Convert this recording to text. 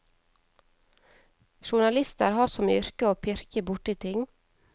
Journalister har som yrke å pirke borti ting.